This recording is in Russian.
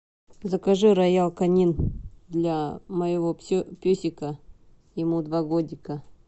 закажи роял конин для моего песика ему два годика